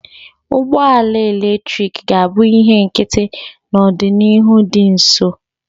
Ụgbọ ala eletrik ga-abụ ihe nkịtị n'ọdịnihu dị nso